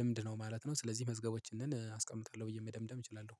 ልምድ ነው ማለት ነው። ስለዚህ መዝገቦችን አስቀምጣለሁ ብዬ መደምደም እችላለሁ